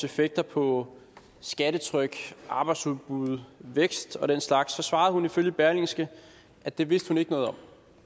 effekter på skattetryk arbejdsudbud vækst og den slags svarede hun ifølge berlingske at det vidste hun ikke noget om